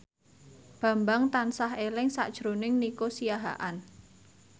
Bambang tansah eling sakjroning Nico Siahaan